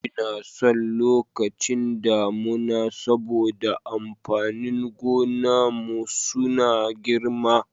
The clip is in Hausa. Inason lokacin damuna saboda amfanin gonan mu suna girma.